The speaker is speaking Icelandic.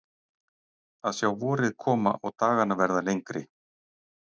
Að sjá vorið koma og dagana verða lengri.